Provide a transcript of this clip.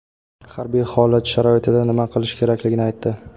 harbiy holat sharoitida nima qilish kerakligini aytdi.